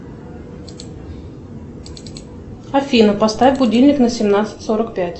афина поставь будильник на семнадцать сорок пять